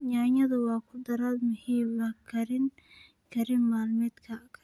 Yaanyada waa khudrad muhiim u ah karin maalmeedka.